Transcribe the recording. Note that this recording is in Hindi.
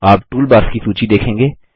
आप टूलबार्स की सूची देखेंगे